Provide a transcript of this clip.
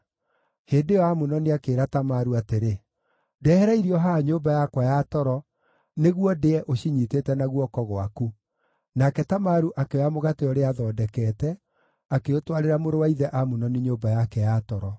Hĩndĩ ĩyo Amunoni akĩĩra Tamaru atĩrĩ, “Ndehera irio haha nyũmba yakwa ya toro, nĩguo ndĩe ũcinyiitĩte na guoko gwaku.” Nake Tamaru akĩoya mũgate ũrĩa aathondekete, akĩũtwarĩra mũrũ wa ithe Amunoni nyũmba yake ya toro.